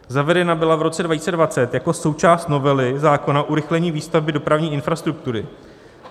Zavedena byla v roce 2020 jako součást novely zákona o urychlení výstavby dopravní infrastruktury.